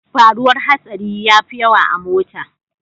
Faruwar hatsari yafi yawa a mota.